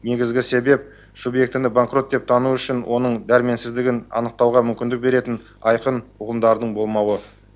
негізгі себеп субъектіні банкрот деп тану үшін оның дәрменсіздігін анықтауға мүмкіндік беретін айқын ұғымдардың болмауы